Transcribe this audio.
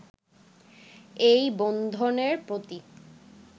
এই বন্ধনের প্রতি